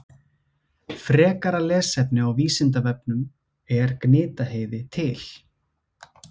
Frekara lesefni á Vísindavefnum Er Gnitaheiði til?